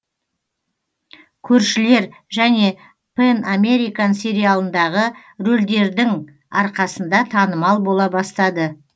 көршілер және пэн американ сериалындағы рөлдердің арқасында танымал бола бастады